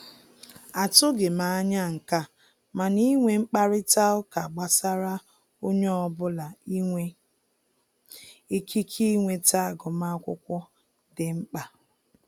A tụghị anya nke a, mana inwe mkparịta ụka gbasara onye ọbụla inwe ikike inweta agụmakwụkwọ dị mkpa